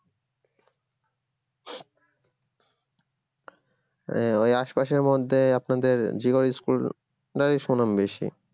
এই ওই আশপাশের মধ্যে আপনাদের জীবয়ী school প্রায় সুনাম বেশি